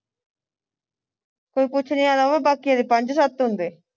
ਕੋਈ ਪੂਛਨੇ ਵਾਲਾ ਹੋਵੇ ਬਾਕੀਆਂ ਦੇ ਪੰਜ ਸੱਤ ਹੁੰਦੇ